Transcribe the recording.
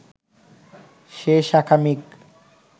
সে শাখামৃগ